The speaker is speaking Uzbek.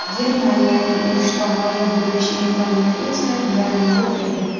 Germaniyaning urushda g‘olib bo‘lish imkoniyati esa deyarli yo‘q edi.